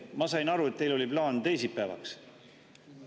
Ma sain aru, et teil oli plaan teisipäeval.